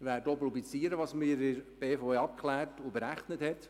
Wir werden auch publizieren, was die BVE abgeklärt und berechnet hat.